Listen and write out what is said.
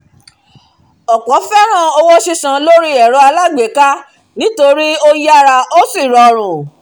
ọ̀pọ̀ fẹ́ràn owó sísan lórí ẹ̀rọ alágbèéká nítorí ó rọrùn ó sì yára